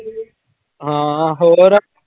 ਹਾਂ ਹੋਰ।